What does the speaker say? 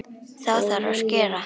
Þá þarf að skera.